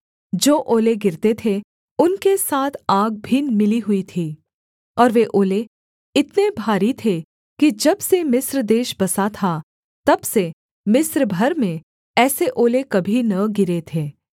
जो ओले गिरते थे उनके साथ आग भी मिली हुई थी और वे ओले इतने भारी थे कि जब से मिस्र देश बसा था तब से मिस्र भर में ऐसे ओले कभी न गिरे थे